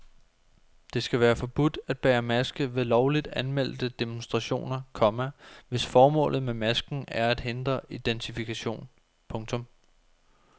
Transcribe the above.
Det skal være forbudt at bære maske ved lovligt anmeldte demonstrationer, komma hvis formålet med masken er at hindre identifikation. punktum